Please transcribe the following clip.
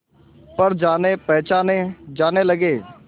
पर जानेपहचाने जाने लगे